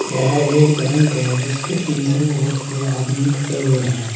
यह एक बैंक है जिसके अंदर बहुत से आदमी खड़े हुए हैं।